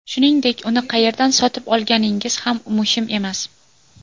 Shuningdek, uni qayerdan sotib olganingiz ham muhim emas.